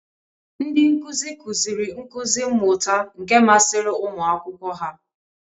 Ndị nkuzi, kụziri nkuzi mmuta nke masịrị ụmụ akwụkwọ ha.